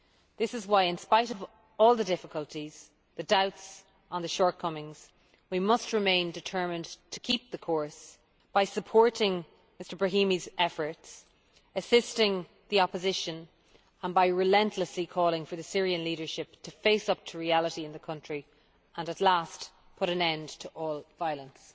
This is why, in spite of all the difficulties and the doubts on the shortcomings, we must remain determined to keep the course, by supporting Mr Brahimi's efforts, assisting the opposition and relentlessly calling for the Syrian leadership to face up to reality in the country and at last put an end to all violence.